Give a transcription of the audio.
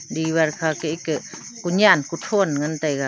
diwar ka kha ke ekeh kunen kuthow ngan tega.